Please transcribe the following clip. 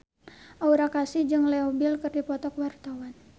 Aura Kasih jeung Leo Bill keur dipoto ku wartawan